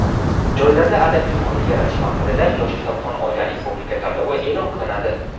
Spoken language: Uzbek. joylarda adabiy muhit yaratish maqsadida "Yosh kitobxon oila" respublika tanlovi eʼlon qilinadi.